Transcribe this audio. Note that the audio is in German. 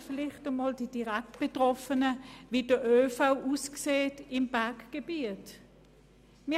Fragen Sie vielleicht einmal die Direktbetroffenen, wie der ÖV im Berggebiet aussieht.